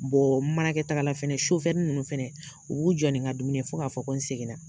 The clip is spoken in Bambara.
n mana kɛ taagala fɛnɛ sofɛri nunnu fɛnɛ u b'u jɔ nin ka dumuni fo k'a fɔ ko n seginna